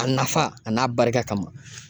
A nafa a n'a barika kama.